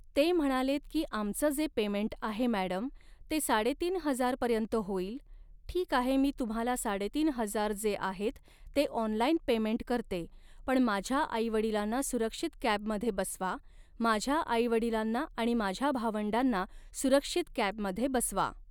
ते म्हणालेत की आमचं जे पेमेंट आहे मॅडम, ते साडेतीन हजारपर्यंत होईल, ठीक आहे मी तुम्हाला साडेतीन हजार जे आहेत ते ऑनलाईन पेमेंट करते पण माझ्या आईवडिलांना सुरक्षित कॅबमध्ये बसवा, माझ्या आईवडीलांना आणि माझ्या भावंडांना सुरक्षित कॅबमध्ये बसवा